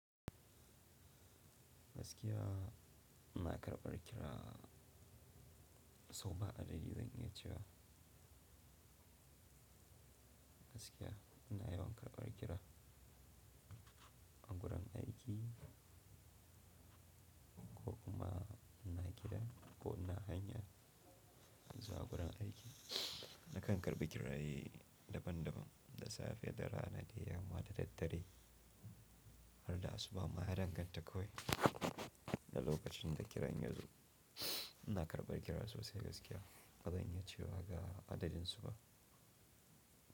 Gaskiya ina karɓar kira, so ba adadi zan iya cewa gaskiya ina yawan karɓar kira. A gurin aiki ko kuma ina gida ko ina hanya, zuwa gurin aiki. Nakan karɓi kiraye daban daban, da safe, da rana, da yamma, da daddare har da asuba. Ma ya danganta kawai da lokacin da kiran yazo. Ina karɓar kira sosai gaskiya ba zan iya cewa ga adadinsu ba.